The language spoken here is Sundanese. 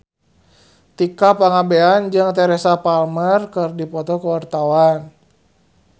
Tika Pangabean jeung Teresa Palmer keur dipoto ku wartawan